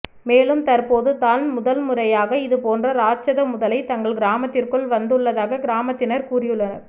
மேலும் தற்போது தான் முதல் முறையாக இது போன்ற இராட்சத முதலை தங்கள் கிராமத்திற்குள் வந்து உள்ளதாக கிராமத்தினர் கூறியுள்ளனர்